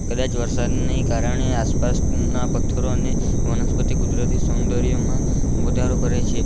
કદાચ વરસાદ ને કારણે આસપાસના પથ્થરોને વનસ્પતિ કુદરતી સૌંદર્યમાં વધારો કરે છે.